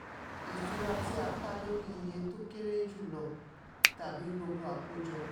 ìṣura tí a kà lórí iye tó kéré jù lọ tàbí gbogbo àkójọ.